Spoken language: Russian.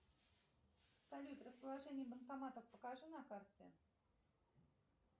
салют расположение банкоматов покажи на карте